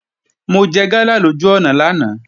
Mo jẹ gala lójú ọ̀nà lánàá